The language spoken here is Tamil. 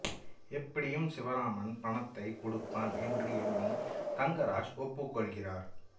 எப்படியும் சிவராமன் பணத்தை கொடுப்பான் என்று எண்ணி தங்கராஜ் ஒப்புக்கொள்கிறார்